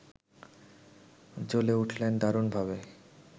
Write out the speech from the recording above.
জ্বলে উঠলেন দারুণভাবে